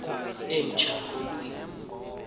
emtshanyana